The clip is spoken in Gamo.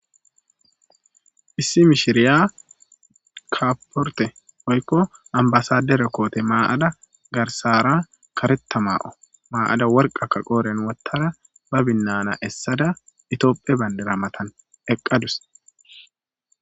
issi mishiriya kapporte oykko ambasadera koote maa7ada garsara kareta maa7o maa7ada worqaka qooren wottara ba binnana essada itooppe bandira matan eqqadus.